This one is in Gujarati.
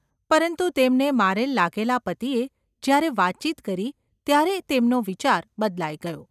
પરંતુ તેમને મારેલ લાગેલા પતિએ જ્યારે વાતચીત કરી ત્યારે તેમનો વિચાર બદલાઈ ગયો.